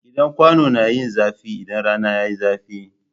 Gidan kwano na yin zafi idan rana yayi zafi